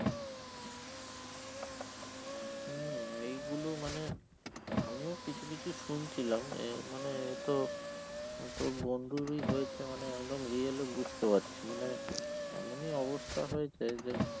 হম এই গুলো মানে আমিও কিছু কিছু শুনছিলাম এ মানে এ তো তোর বন্ধুরই হয়েছে মানে একদম real ই বুঝতে পারছি মানে এমনই অবস্থা হয়েছে যে